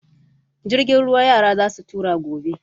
Jirgin ruwa yara za su tura gobe.